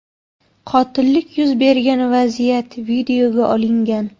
Qotillik yuz bergan vaziyat videoga olingan.